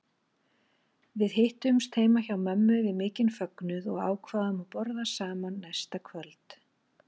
Við hittumst heima hjá mömmu við mikinn fögnuð og ákváðum að borða saman næsta kvöld.